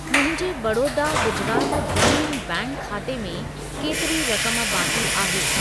मुंहिंजे बड़ौदा गुजरात ग्रामीण बैंक खाते में केतिरी रक़म बाक़ी आहे?